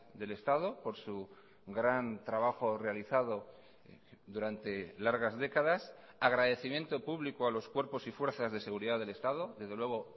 del estado por su gran trabajo realizado durante largas décadas agradecimiento público a los cuerpos y fuerzas de seguridad del estado desde luego